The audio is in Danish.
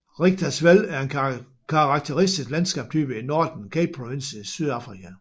Richtersveld er en karakteristisk landskabstype i Northern Capeprovinsen i Sydafrika